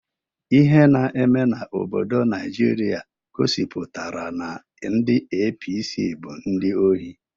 Ihe na eme n'obodo Naijiria gosipụtara na ndị APC bụ ndị ohi.